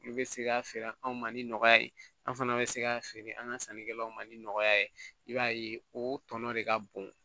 N'u bɛ se k'a feere anw ma ni nɔgɔya ye an fana bɛ se k'a feere an ka sannikɛlaw ma ni nɔgɔya ye i b'a ye o tɔnɔ de ka bon